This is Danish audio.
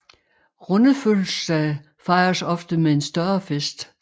Runde fødselsdage fejres ofte med en større fest